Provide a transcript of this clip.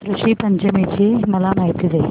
ऋषी पंचमी ची मला माहिती दे